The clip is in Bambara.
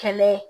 Kɛlɛ ye